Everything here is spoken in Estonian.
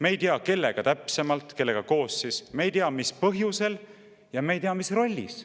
Me ei tea, kellega koos täpsemalt, me ei tea, mis põhjusel, ja me ei tea, mis rollis.